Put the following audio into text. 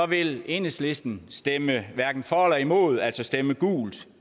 vil enhedslisten stemme hverken for eller imod altså stemme gult